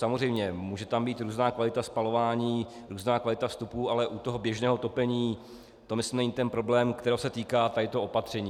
Samozřejmě, může tam být různá kvalita spalování, různá kvalita vstupů, ale u toho běžného topení to myslím není ten problém, kterého se týká toto opatření.